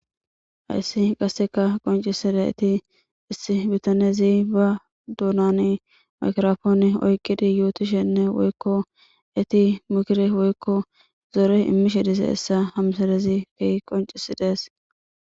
Hayssi konccisizayssi issi biitanezi ba dunan maygrappone oyqqidi yottishshene woykko hasa'isshe zoore imishshe dizayssa ha missilezi konccisidess